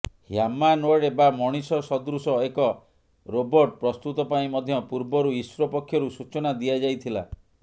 humanoid ବା ମଣିଷ ସଦୃଶ ଏକ ରୋବୋର୍ଟ ପ୍ରସ୍ତୁତ ପାଇଁ ମଧ୍ୟ ପୂର୍ବରୁ ଇସ୍ରୋ ପକ୍ଷରୁ ସୂଚନା ଦିଆଯାଇଥିଲା